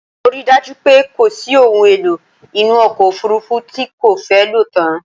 Mo ri dájú pé kòsí ohun èlò inú ọkọ̀ òfurufú tí n kò fẹ́ lòtán